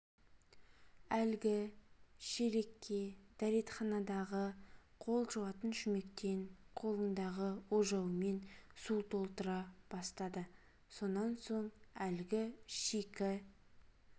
лгі шелекке дретханадағы қол жуатын шүмектен қолындағы ожауымен су толтыра бастады сонан соң лгі шикі